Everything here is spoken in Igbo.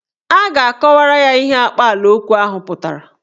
A ga-akọwara ya ihe akpaalaokwu ahụ pụtara.